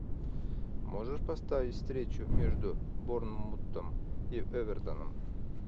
можешь поставить встречу между борнмутом и эвертоном